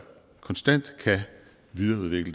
nye